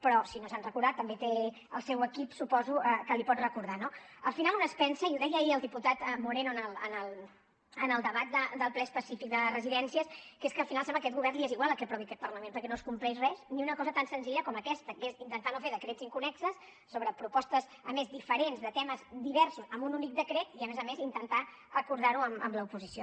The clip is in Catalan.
però si no se n’ha recordat també té el seu equip suposo que l’hi pot recordar no al final un es pensa i ho deia ahir el diputat moreno en el debat del ple específic de residències que és que al final sembla que a aquest govern li és igual el que aprovi aquest parlament perquè no es compleix res ni una cosa tan senzilla com aquesta que és intentar no fer decrets inconnexos sobre propostes a més diferents de temes diversos amb un únic decret i a més a més intentar acordar ho amb l’oposició